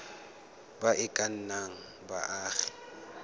ba e ka nnang baagi